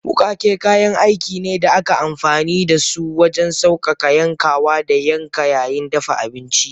Wukake kayan aiki ne da ake amfani da su wajen sauƙaƙa yankawa da yanka yayin dafa abinci.